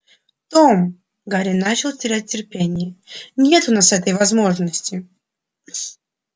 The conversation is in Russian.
том гарри начал терять терпение нет у нас этой возможности